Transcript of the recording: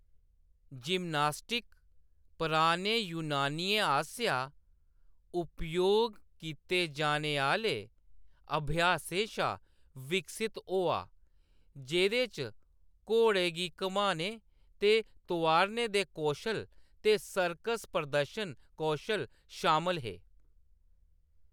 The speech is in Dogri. जिम्नास्टिक पराने यूनानियें आसेआ उपयोग कीते जाने आह्‌‌‌ले अभ्यासें शा विकसत होआ जेह्‌दे च घोड़े गी घमाने ते तोआरने दे कौशल ते सर्कस प्रदर्शन कौशल शामल हे।